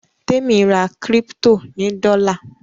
Temi rà crypto ní dola.